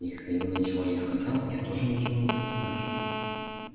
михаил ничего не сказал я тоже ничего не стал спрашивать